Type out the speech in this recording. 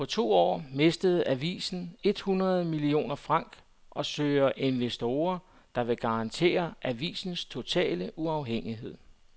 På to år mistede avisen et hundrede millioner franc og søger investorer, der vil garantere avisens totale uafhængighed.